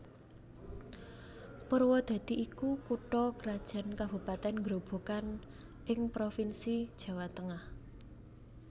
Purwadadi iku kutha krajan kabupatèn Grobogan ing provinsi Jawa Tengah